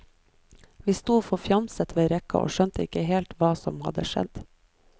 Vi sto forfjamset ved rekka og skjønte ikke helt hva som hadde skjedd.